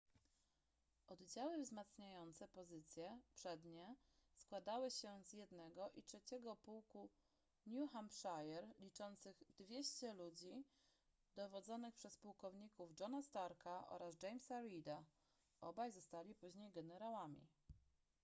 oddziały wzmacniające pozycje przednie składały się z 1. i 3. pułku new hampshire liczących 200 ludzi dowodzonych przez pułkowników johna starka oraz jamesa reeda obaj zostali później generałami